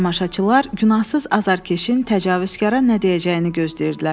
Tamaşaçılar günahsız azarkeşin təcavüzkara nə deyəcəyini gözləyirdilər.